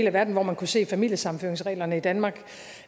af verden hvor man kunne se familiesammenføringsreglerne i danmark